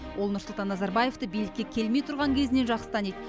ол нұрсұлтан назарбаевты билікке келмей тұрған кезінен жақсы таниды